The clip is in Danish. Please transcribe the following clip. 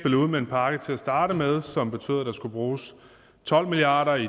ud med en pakke til at starte med som betød at der skulle bruges tolv milliard